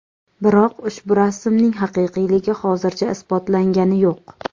Biroq ushu rasmning haqiqiyligi hozircha isbotlangani yo‘q.